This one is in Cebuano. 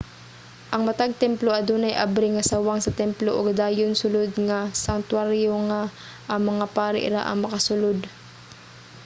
ang matag templo adunay abri nga sawang sa templo ug dayon sulod nga sangtuwaryo nga ang mga pari ra ang makasulod